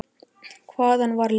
Hvaðan var Leifur heppni?